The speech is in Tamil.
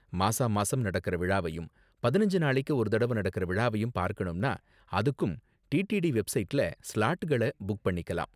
மாசாமாசம் நடக்குற விழாவையும் பதினஞ்சு நாளைக்கு ஒரு தடவ நடக்குற விழாவையும் பார்க்கணும்னா, அதுக்கும் டிடிடி வெப்சைட்ல ஸ்லாட்கள புக் பண்ணிக்கலாம்.